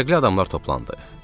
Fərqli adamlar toplandı.